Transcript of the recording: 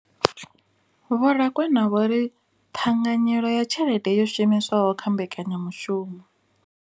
Vho Rakwena vho ri ṱhanganyelo ya tshelede yo shumiswaho kha mbekanya mushumo.